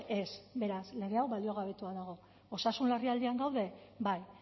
ez beraz lege hau baliogabetua dago osasun larrialdian gaude bai